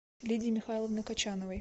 лидии михайловны кочановой